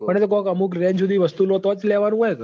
પણ એતો અમુક range હુડી વસ્તુ લેતો જ લેવાનું હોય ક